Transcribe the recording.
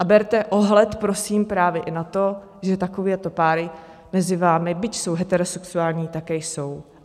A berte ohled prosím právě i na to, že takovéto páry mezi vámi, byť jsou heterosexuální, také jsou.